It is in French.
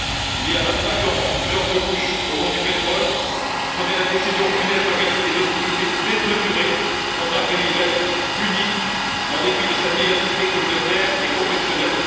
Il y a vingt cinq ans, George Bush, au nom du pétrole, prenait la décision funeste d'engager des hostilités démesurées contre un pays laïc, uni, en dépit de sa diversité communautaire et confessionnelle.